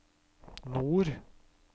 nord